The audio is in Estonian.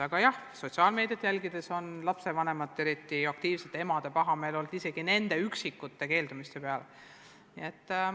Aga jah, sotsiaalmeediat jälgides on olnud selge, et lapsevanemate, eriti aktiivsete emade pahameel on isegi nende üksikute keeldumiste peale suur olnud.